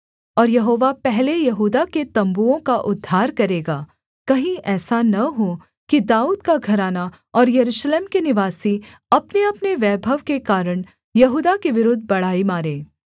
और यहोवा पहले यहूदा के तम्बुओं का उद्धार करेगा कहीं ऐसा न हो कि दाऊद का घराना और यरूशलेम के निवासी अपनेअपने वैभव के कारण यहूदा के विरुद्ध बड़ाई मारें